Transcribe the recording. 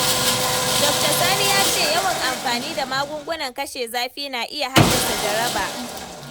Dokta Sani ya ce yawan amfani da magungunan kashe zafi na iya haddasa jaraba.